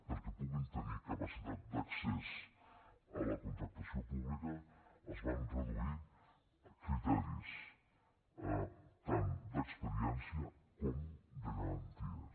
perquè puguin tenir capacitat d’accés a la contractació pública es van reduir criteris tant d’experiència com de garanties